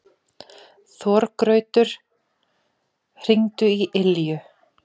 Þorgautur, hringdu í Ylju.